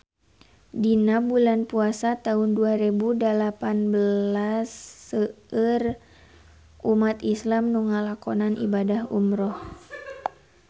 Dina bulan Puasa taun dua rebu dalapan belas seueur umat islam nu ngalakonan ibadah umrah